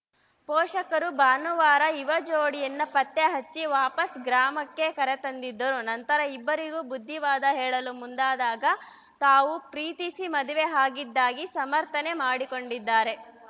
ಪೋಷಕರು ಭಾನುವಾರ ಯುವಜೋಡಿಯನ್ನು ಪತ್ತೆಹಚ್ಚಿ ವಾಪಸ್‌ ಗ್ರಾಮಕ್ಕೆ ಕರೆತಂದಿದ್ದರು ನಂತರ ಇಬ್ಬರಿಗೂ ಬುದ್ದಿವಾದ ಹೇಳಲು ಮುಂದಾದಾಗ ತಾವು ಪ್ರೀತಿಸಿ ಮದುವೆ ಆಗಿದ್ದಾಗಿ ಸಮಥರ್‍ನೆ ಮಾಡಿಕೊಂಡಿದ್ದಾರೆ